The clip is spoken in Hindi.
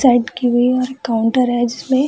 साइड की हुई है और एक काउंटर है जिसमें --